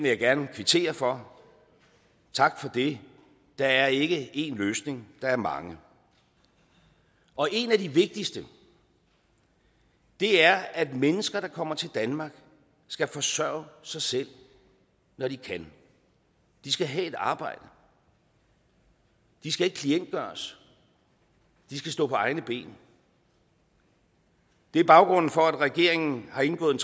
jeg gerne kvittere for tak for det der er ikke én løsning der er mange og en af de vigtigste er at mennesker der kommer til danmark skal forsørge sig selv når de kan de skal have et arbejde de skal ikke klientgøres de skal stå på egne ben det er baggrunden for at regeringen har indgået